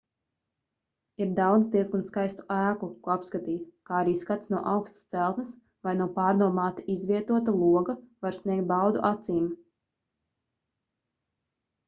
ir daudz diezgan skaistu ēku ko apskatīt kā arī skats no augstas celtnes vai no pārdomāti izvietota loga var sniegt baudu acīm